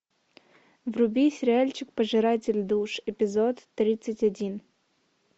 вруби сериальчик пожиратель душ эпизод тридцать один